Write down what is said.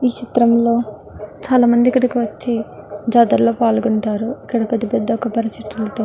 ఈ చిత్రం లో చాల మంది ఇక్కడికి వచ్చి జాతర లో పాలుగుంటారు ఇక్కడ పెద్ద పెద్ద కొబ్బరి చెట్లతో --